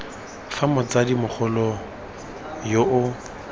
fa motsadi mogolo yo o